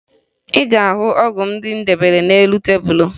Ị ga-ahụ ọgwụ ndị m debere n'elu tebulu